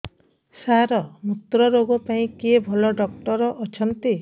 ସାର ମୁତ୍ରରୋଗ ପାଇଁ କିଏ ଭଲ ଡକ୍ଟର ଅଛନ୍ତି